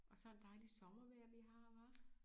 Og sådan et dejligt sommervejr vi har hva